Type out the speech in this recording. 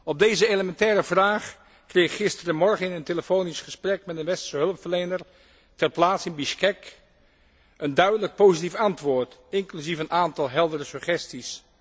Op deze elementaire vraag kreeg ik gisterenmorgen in een telefonisch gesprek met een westerse hulpverlener ter plaatse in Bisjkek een duidelijk positief antwoord, inclusief een aantal heldere suggesties.